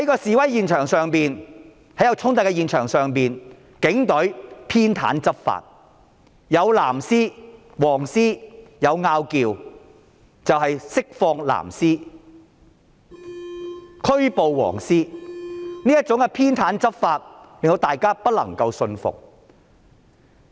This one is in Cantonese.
在示威衝突現場，警隊偏袒執法，當"藍絲"與"黃絲"出現爭執，釋放"藍絲"，拘捕"黃絲"，這種偏袒執法令大家不能信服。